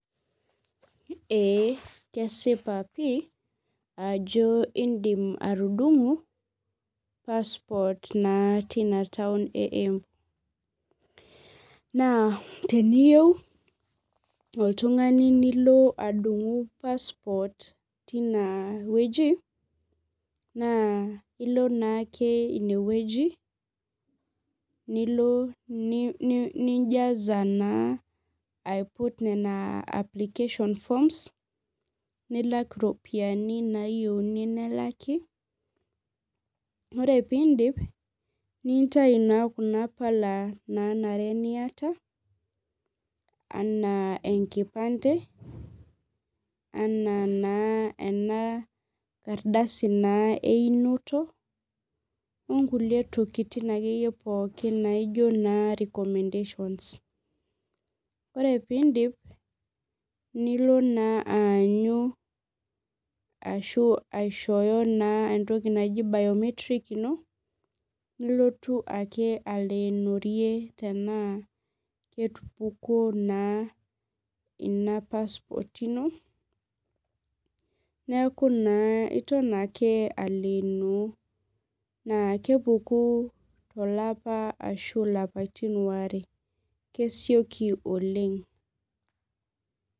Ee kesipa pii ajo indim atudungu passport na tina taun e embu na teniyieu oltungani nilo adungucs passport cs tinewueji na ilo naake inewueji nilo nijaza naa aiput nona application forms nilak iropiyiani nelaki ore pindip nintau naa kuna pala nanare niata ana enkipande anaa naa ena kardasi na einoto onkulie tokitin pookin naijo na recommendations ore pindip nilo naa aanyu ashu aishooyo entoki naji biometric ino nilotu aleenorie tanaa ketupukuo naa ina passport ino neaku iton aake aleeno na kepuku tolapa ashu lapatin aare kesioki oleng.